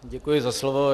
Děkuji za slovo.